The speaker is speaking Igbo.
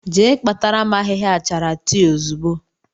Jee kpatara m ahịhịa achara tii ozugbo!